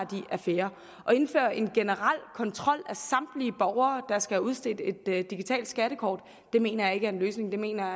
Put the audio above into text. affære at indføre en generel kontrol af samtlige borgere der skal have udstedt et digitalt skattekort mener jeg ikke er en løsning det mener jeg